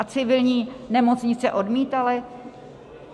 A civilní nemocnice odmítaly?